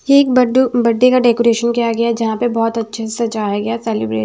ये एक birth birthday का डेकोरेशन किया गया जहां पे बहुत अच्छे से सजाया गया सेलिब्रेट --